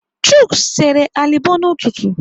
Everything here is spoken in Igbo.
Chuks sere alịbọ n'ụtụtụ.